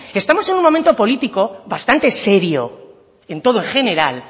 estamos en un momento político bastante serio en todo en general